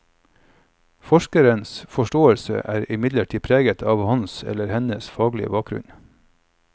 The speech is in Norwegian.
Forskerens forstÂelse er imidlertid preget av hans eller hennes faglige bakgrunn.